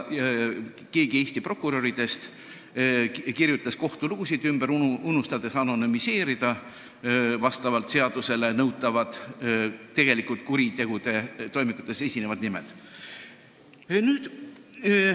Keegi Eesti prokuröridest kirjutas isegi kohtulugusid ümber, unustades anonüümida kuritegude toimikutes esinevad nimed, mida nõuab seadus.